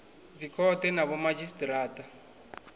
dzikhothe na vhomadzhisi ara a